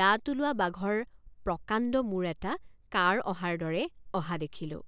দাঁত ওলোৱা বাঘৰ প্ৰকাণ্ড মূৰ এটা কাঁড় অহাৰ দৰে অহা দেখিলোঁ।